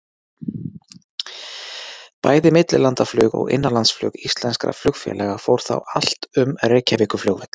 Bæði millilandaflug og innanlandsflug íslenskra flugfélaga fór þá allt um Reykjavíkurflugvöll.